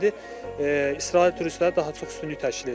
İndi İsrail turistləri daha çox üstünlük təşkil edir.